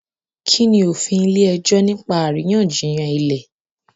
Kini òfin ile-ẹjọ nipa àríyànjiyàn ilẹ?